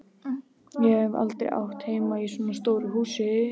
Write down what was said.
Ég hef aldrei átt heima í svona stóru húsi.